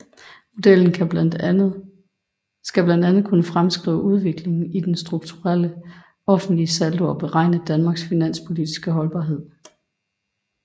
Modellen skal blandt andet kunne fremskrive udviklingen i den strukturelle offentlige saldo og beregne Danmarks finanspolitiske holdbarhed